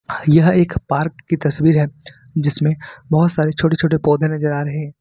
यह एक पार्क की तस्वीर है जिसमें बहुत सारी छोटे छोटे पौधे नजर आ रहे हैं।